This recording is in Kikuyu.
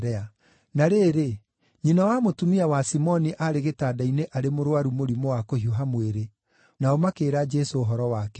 Na rĩrĩ, nyina wa mũtumia wa Simoni aarĩ gĩtanda-inĩ arĩ mũrũaru mũrimũ wa kũhiũha mwĩrĩ, nao makĩĩra Jesũ ũhoro wake.